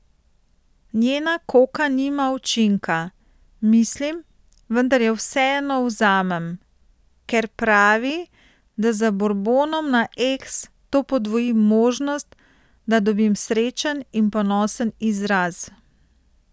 Njena koka nima učinka, mislim, vendar jo vseeno vzamem, ker pravi, da z burbonom na eks to podvoji možnosti, da dobim srečen in ponosen izraz.